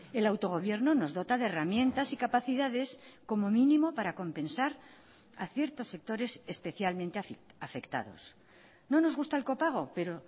el autogobierno nos dota de herramientas y capacidades como mínimo para compensar a ciertos sectores especialmente afectados no nos gusta el copago pero